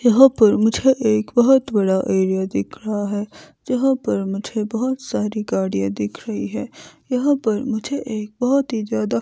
यहां पर मुझे एक बहोत बड़ा एरिया दिख रहा है जहां पर मुझे बहोत सारी गाड़ियां दिख रही हैं यहां पर मुझे एक बहोत ज्यादा--